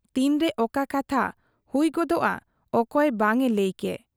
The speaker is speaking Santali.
ᱛᱤᱱᱨᱮ ᱚᱠᱟ ᱠᱟᱛᱷᱟ ᱦᱩᱭ ᱜᱚᱫᱚᱜ ᱟ ᱚᱠᱚᱭ ᱵᱟᱝ ᱮ ᱞᱟᱹᱭ ᱠᱮ ᱾